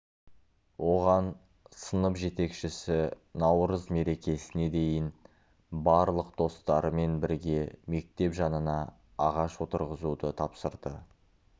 оған сынып жетекшісі наурыз мерекесіне дейін барлық достарымен бірге мектеп жанына ағаш отырғызуды тапсырды